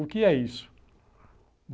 O que é isso?